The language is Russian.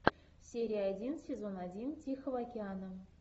серия один сезон один тихого океана